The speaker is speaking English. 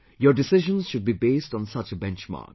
Your decisions should be based on such a benchmark